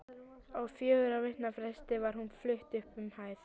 Á fjögurra vikna fresti var hún flutt upp um hæð.